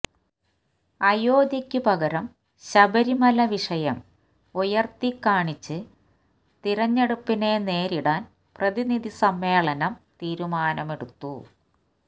അയോധ്യക്ക് പകരം ശബരിമല വിഷയം ഉയർത്തി കാണിച്ച് തിരഞ്ഞെടുപ്പിനെ നേരിടാൻ പ്രതിനിധിസമ്മേളനം തീരുമാനമെടുത്തു